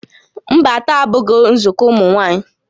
Mba, taa abụghị nzukọ ụmụ nwaanyị